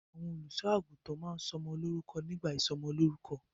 Àwọn olùṣọ́-àgùntàn máa ń sọ ọmọ lórúkọ nígbà ìsọmọlórúkọ.